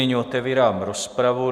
Nyní otevírám rozpravu.